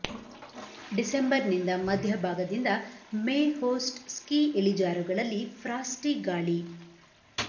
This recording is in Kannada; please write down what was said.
ಡಿಸೆಂಬರ್ ನಿಂದ ಮಧ್ಯಭಾಗದಿಂದ ಮೇ ಹೋಸ್ಟ್ ಸ್ಕೀ ಇಳಿಜಾರುಗಳಲ್ಲಿ ಫ್ರಾಸ್ಟಿ ಗಾಳಿ